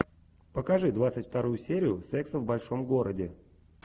покажи двадцать вторую серию секса в большом городе